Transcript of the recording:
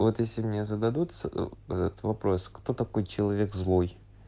вот если мне зададут вот вопрос кто такой человек злой